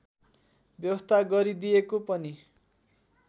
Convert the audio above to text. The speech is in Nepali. व्यवस्था गरिदिएको पनि